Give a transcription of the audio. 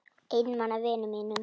Einmana vinum mínum.